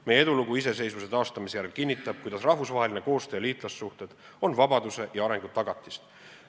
Meie edulugu iseseisvuse taastamise järel kinnitab, et rahvusvaheline koostöö ja liitlassuhted on vabaduse ja arengu tagatis.